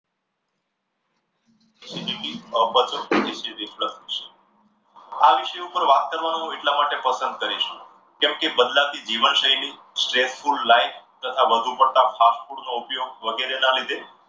આ વિષય પર વાત કરવાનું હું એટલા માટે પસંદ કરીશ. કેમકે, બદલાતી જીવન શૈલી stressful life તથા વધુ પડતા fast food નો ઉપયોગ વગેરેના લીધે